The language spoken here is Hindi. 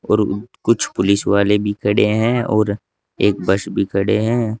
और कुछ पुलिस वाले भी खड़े हैं और एक बस भी खड़े हैं।